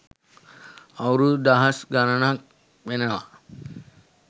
අවුරුදු දහස් ගණනක් වෙනවා.